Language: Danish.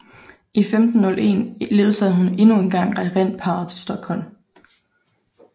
I 1501 ledsagede hun endnu en gang regentparret til Stockholm